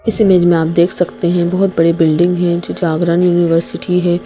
इस इमेज में आप देख सकते हैं बहुत बड़ी बिल्डिंग है जो जागरण यूनिवर्सिटी है।